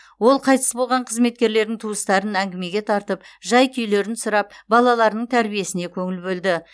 ол қайтыс болған қызметкерлердің туыстарын әңгімеге тартып жай күйлерін сұрап балаларының тәрбиесіне көңіл бөлді